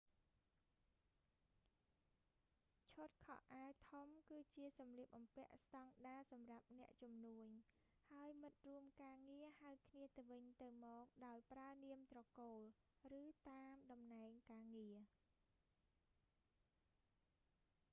ឈុតខោអាវធំគឺជាសម្លៀកបំពាក់ស្តង់ដារសម្រាប់អ្នកជំនួញ ហើយមិត្តរួមការងារហៅគ្នាទៅវិញទៅមកដោយប្រើនាមត្រកូល ឬតាមតំណែងការងារ